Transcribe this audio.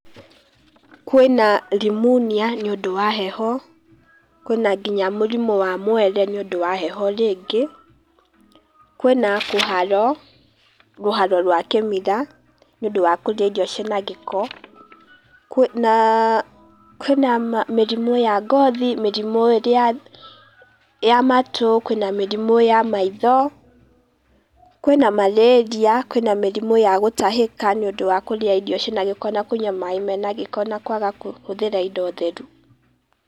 Kwĩna rimunia nĩ ũndũ wa heho, kwĩna ngĩnya mũrimũ wa mwere nĩũndũ wa heho rĩngĩ, kwĩna kũharwo rũharwo rwa kĩmira nĩũndũ wa kũrĩa irio ci na gĩko, kwĩna mĩrimũ ya ngothi, mĩrimũ ĩrĩa ya matũ, kwĩna mĩrimũ ya maitho, kwĩna marĩria, kwĩna mĩrimũ ya gũtahĩka nĩ ũndũ wa kũrĩa irio cina gĩko na kũnyũa maĩ mena gĩko na kwaga kũhũthĩra indo theru.